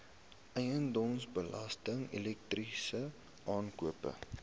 eiendomsbelasting elektrisiteit aankope